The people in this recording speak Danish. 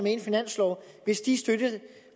i en finanslov hvis de